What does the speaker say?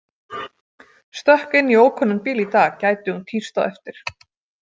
Stökk inn í ókunnan bíl í dag, gæti hún tíst á eftir.